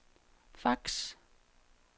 fax